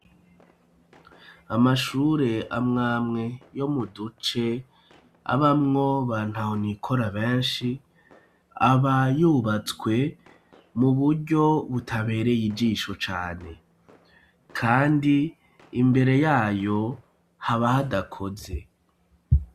Amashure amwe amwe yo mu duce, abamwo ba ntahonikora benshi aba yubatswe mu buryo butabereye ijisho cane. Kandi imbere yayo haba hadakoze.